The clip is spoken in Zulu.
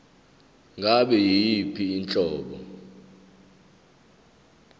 ngabe yiyiphi inhlobo